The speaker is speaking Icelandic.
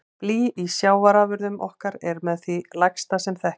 Blý í sjávarafurðum okkar er með því lægsta sem þekkist.